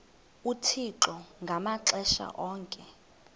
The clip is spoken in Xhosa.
uthixo ngamaxesha onke